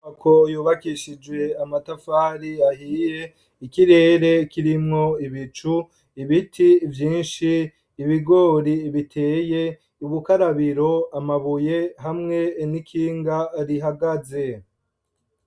Inyubako yubakishije amatafari ahiye, ikirere kirimwo ibicu, ibiti vyinshi, ibigori biteye, ubukarabiro, amabuye hamwe n'ikinga rihagaze.